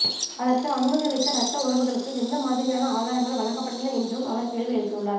அதற்கு அனுமதியளித்த ரத்த உறவுகளுக்கு எந்த மாதிரியான ஆதாரங்கள் வழங்கப்பட்டன என்றும் அவர் கேள்வி எழுப்பியுள்ளார்